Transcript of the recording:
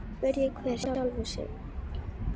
Spyrji hver sjálfan sig.